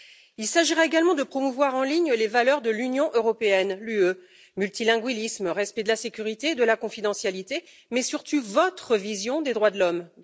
Il s'agira également de promouvoir en ligne les valeurs de l'Union européenne, l'UE multilinguisme, respect de la sécurité et de la confidentialité mais surtout votre vision des droits de l'homme.